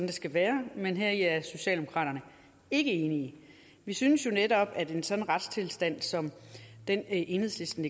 det skal være men heri er socialdemokraterne ikke enige vi synes jo netop at en sådan retstilstand som den enhedslisten